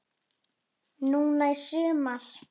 Núna í sumar?